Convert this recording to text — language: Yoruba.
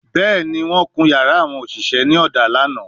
Bẹẹni, wọn kun yara awon oṣiṣẹ ni oda lana